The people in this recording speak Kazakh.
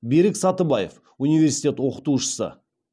берік сатыбаев университет оқытушысы